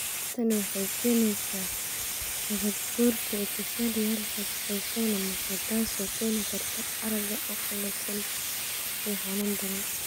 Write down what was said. Tani waxay keenaysaa nabaad-guurka epithelial-ka ee soo noqnoqda, taas oo keeni karta aragga oo qallafsan iyo xanuun daran.